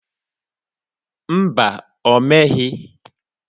Mba, o meghị.